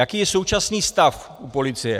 Jaký je současný stav u policie?